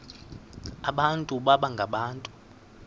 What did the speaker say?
abantu baba ngabantu